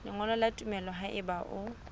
lengolo la tumello haeba o